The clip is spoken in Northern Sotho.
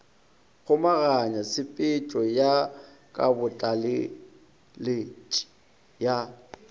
kgomaganya tshepetšo ya kabotlaleletši ya